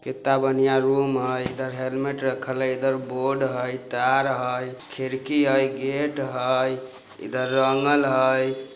कित्ता बढ़िया रूम है हेलमेट रखल है| इधर बोर्ड हई तार हई खिरकी हई गेट हई इधर आंगन हई।